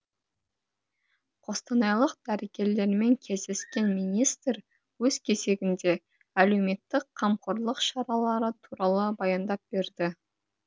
қостанайлық дәрігерлермен кездескен министр өз кезегінде әлеуметтік қамқорлық шаралары туралы баяндап берді